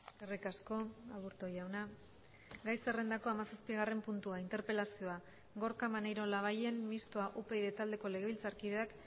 eskerrik asko aburto jauna gai zerrendako hamazazpigarren puntua interpelazioa gorka maneiro labayen mistoa upyd taldeko legebiltzarkideak